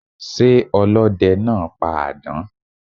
Sé ọlódenáa pa àdán?